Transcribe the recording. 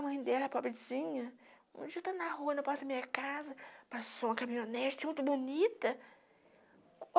A mãe dela, a pobrezinha, um dia, estou na rua, na porta da minha casa, passou uma caminhonete muito bonita.